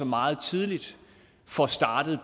meget tidligt får startet